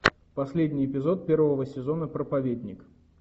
последний эпизод первого сезона проповедник